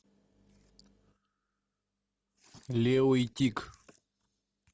лео и тиг